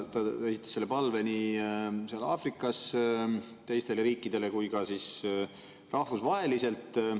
Ta esitas selle palve nii seal Aafrikas teistele riikidele kui ka rahvusvaheliselt.